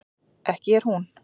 ekki er hún